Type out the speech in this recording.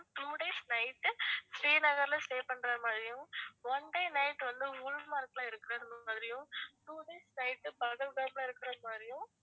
two days night உ ஸ்ரீநகர்ல stay பண்றது மாதிரியும் one day night வந்து குல்மார்க்ல இருக்கிறது மாதிரியும் two days night பகல்காம்ல இருக்கிறது மாதிரியும்